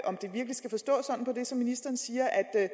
ministeren siger at